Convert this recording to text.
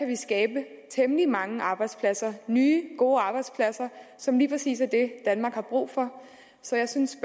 vi skabe temmelig mange arbejdspladser nye gode arbejdspladser som lige præcis er det danmark har brug for så jeg synes